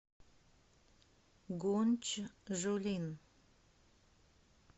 гунчжулин